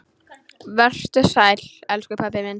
Vertu sæll, elsku pabbi minn.